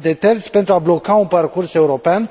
de terți, pentru a bloca un parcurs european.